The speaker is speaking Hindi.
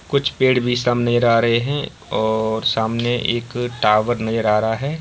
कुछ पेड़ भी सामने रा रहे हैं और सामने एक टावर नजर आ रहा है।